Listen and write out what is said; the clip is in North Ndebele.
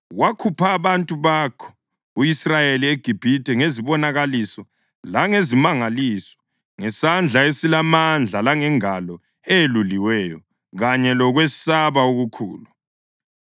Wakhupha abantu bakho u-Israyeli eGibhithe ngezibonakaliso langezimangaliso; ngesandla esilamandla langengalo eyeluliweyo kanye lokwesaba okukhulu.